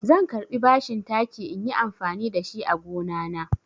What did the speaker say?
Zan karɓi bashin taki inyi amfani da shi a gonana.